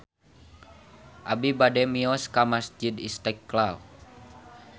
Abi bade mios ka Masjid Istiqlal